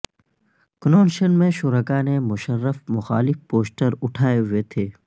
convention میں شرکاء نے مشرف مخالف پوسٹر اٹھائے ہوئے تھے